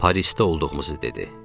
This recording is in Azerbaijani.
Parisdə olduğumuzu dedi.